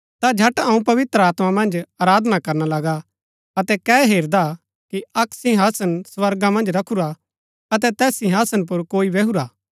ता झट अऊँ पवित्र आत्मा मन्ज आराधना करना लगा अतै कै हेरदा कि अक्क सिंहासन स्वर्गा मन्ज रखूरा अतै तैस सिंहासन पुर कोई बैहुरा हा